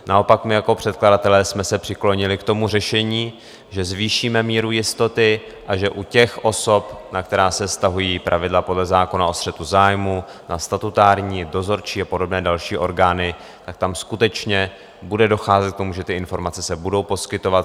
Naopak my jako předkladatelé jsme se přiklonili k tomu řešení, že zvýšíme míru jistoty, a že u těch osob, na které se vztahují pravidla podle zákona o střetu zájmů, na statutární, dozorčí a podobné další orgány, tak tam skutečně bude docházet k tomu, že ty informace se budou poskytovat.